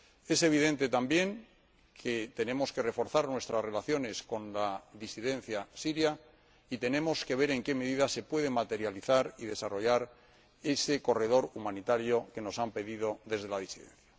Es evidente también que tenemos que reforzar nuestras relaciones con la disidencia siria y tenemos que ver en qué medida se puede materializar y desarrollar ese corredor humanitario que se nos ha pedido desde la disidencia.